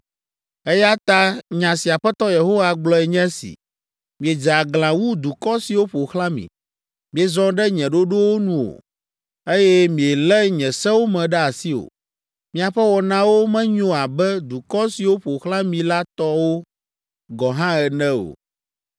“Eya ta nya si Aƒetɔ Yehowa gblɔe nye si, ‘Miedze aglã wu dukɔ siwo ƒo xlã mi, miezɔ ɖe nye ɖoɖowo nu o, eye mielé nye sewo me ɖe asi o. Miaƒe wɔnawo menyo abe dukɔ siwo ƒo xlã mi la tɔwo gɔ hã ene o.’